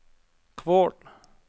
Kvål